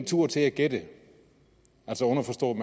tur til at gætte altså underforstået